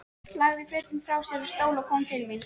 Lagði fötin frá sér á stól og kom til mín.